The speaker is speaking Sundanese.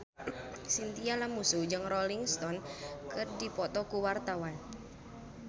Chintya Lamusu jeung Rolling Stone keur dipoto ku wartawan